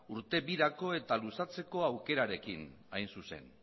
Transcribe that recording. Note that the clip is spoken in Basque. urte birako eta luzatzeko aukerarekin hain zuzen